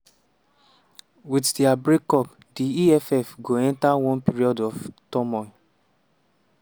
"wit dia break-up di eff go enta one period of turmoil.